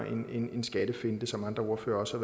en en skattefinte som andre ordførere også